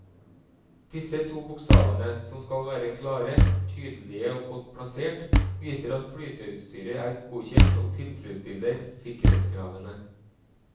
Disse to bokstavene, som skal være klare, tydelige og godt plassert, viser at flyteutstyret er godkjent og tilfredsstiller sikkerhetskravene.